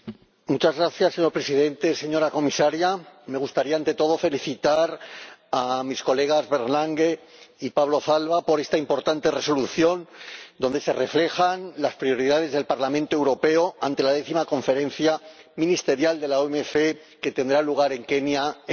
Señor Presidente, señora Comisaria, me gustaría ante todo felicitar a sus Señorías Bernd Lange y Pablo Zalba por esta importante Resolución, donde se reflejan las prioridades del Parlamento Europeo ante la décima Conferencia Ministerial de la OMC, que tendrá lugar en Kenia en diciembre.